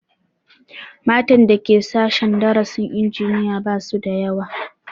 Matan da Ke sashen darasin injiniya ba su da yawa